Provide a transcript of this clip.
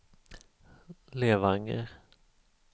Levanger